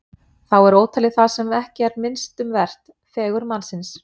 Þá er ótalið það sem ekki er minnst um vert: fegurð mannsins.